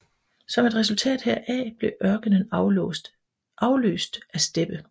Som et resultat heraf blev ørkenen afløst af steppe